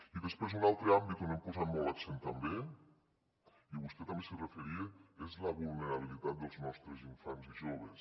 i després un altre àmbit on hem posat molt l’accent també i vostè també s’hi referia és la vulnerabilitat dels nostres infants i joves